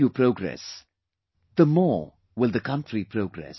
The more you progress, the more will the country progress